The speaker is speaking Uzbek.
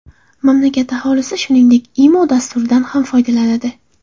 Mamlakat aholisi, shuningdek, Imo dasturidan ham foydalanadi.